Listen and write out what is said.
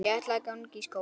Ég ætla að ganga í skóla.